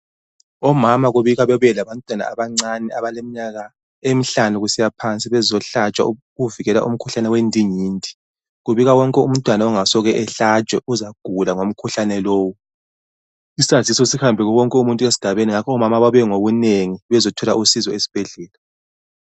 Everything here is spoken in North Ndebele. Omama kubikwa babuye labantwana abancane abaleminyaka emihlanu kusiya phansi bezohlatshwa ukuvikela umkhuhlane wendingidi .Kubikwa wonke umntwana ongasoke ehlatshwe uzagula ngomkhuhlane lowo ,isasizo sihambe kuwowonke umuntu esigabeni ngakho omama bebuye ngobunengi bezothola usizo esbhedlela.